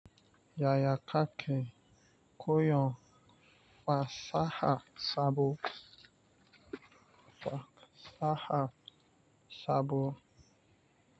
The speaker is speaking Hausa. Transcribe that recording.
Yaya kake koyon fasaha sabo?